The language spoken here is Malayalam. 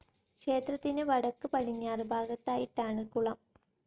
ക്ഷേത്രത്തിന് വടക്ക് പടിഞ്ഞാറ് ഭാഗത്തായിട്ടാണ് കുളം.